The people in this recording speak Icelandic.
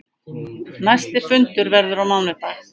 Næsti fundur verður á mánudag.